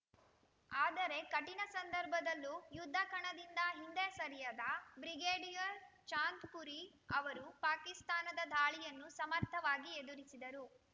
ಆದರೆ ಕಠಿಣ ಸಂದರ್ಭದಲ್ಲೂ ಯುದ್ಧ ಕಣದಿಂದ ಹಿಂದೆ ಸರಿಯದ ಬ್ರಿಗೇಡಿಯರ್‌ ಚಾಂದ್‌ಪುರಿ ಅವರು ಪಾಕಿಸ್ತಾನದ ದಾಳಿಯನ್ನು ಸಮರ್ಥವಾಗಿ ಎದುರಿಸಿದರು